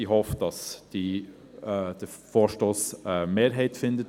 Ich hoffe, dass der Vorstoss eine Mehrheit findet.